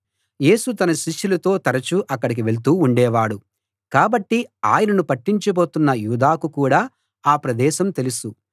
యేసు తన శిష్యులతో తరచు అక్కడికి వెళ్తూ ఉండేవాడు కాబట్టి ఆయనను పట్టించబోతున్న యూదాకు కూడా ఆ ప్రదేశం తెలుసు